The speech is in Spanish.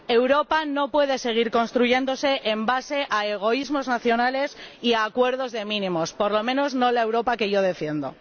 Europa no puede seguir construyéndose en base a egoísmos nacionales y a acuerdos de mínimos, por lo menos, no la Europa que yo defiendo.